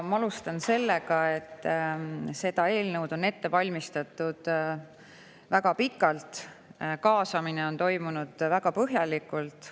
Ma alustan sellega, et seda eelnõu on ette valmistatud väga pikalt, kaasamine on toimunud väga põhjalikult.